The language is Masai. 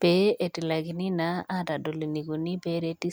pee etilakini naa aatodol neikoni peereti.